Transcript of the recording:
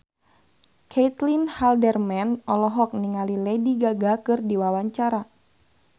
Caitlin Halderman olohok ningali Lady Gaga keur diwawancara